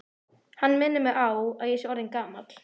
Hann minnir mig á, að ég er orðinn gamall.